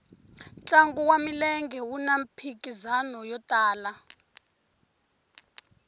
ntlangu wa milenge wuna mphikizano yo tala